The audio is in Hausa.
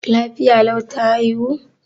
Lafiya lau ta haihu?